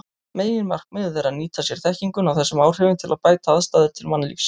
Meginmarkmiðið er að nýta sér þekkinguna á þessum áhrifum til að bæta aðstæður til mannlífs.